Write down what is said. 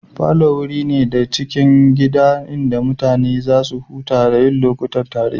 Falo wuri ne a cikin gida inda mutane za su huta da yin lokaci tare.